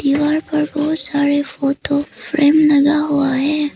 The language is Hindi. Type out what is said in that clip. दीवार पर बहुत सारे फोटो फ्रेम लगा हुआ है।